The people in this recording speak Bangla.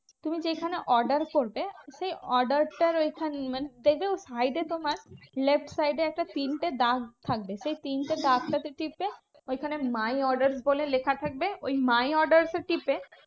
তুমি যেইখানে order করবে সেই order টার ঐখানেই মানে দেখবে side এ তোমার left side এ একটা print এর দাগ থাকবে। সেই print এর দাগটা তে টিপে, ঐখানে my order বলে লেখা থাকবে ওই my orders এ টিপে